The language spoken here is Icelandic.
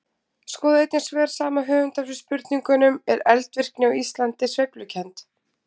Skoðið einnig svör sama höfundar við spurningunum: Er eldvirkni á Íslandi sveiflukennd?